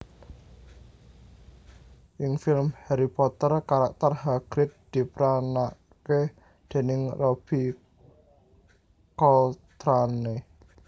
Ing film Harry Potter karakter Hagrid diperanaké déning Robbie Coltrane